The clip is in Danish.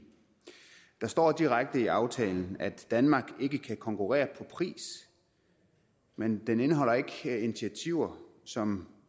der står direkte i aftalen at danmark ikke kan konkurrere på pris men den indeholder ikke initiativer som